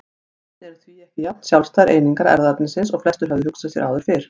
Genin eru því ekki jafn sjálfstæðar einingar erfðaefnisins og flestir höfðu hugsað sér áður fyrr.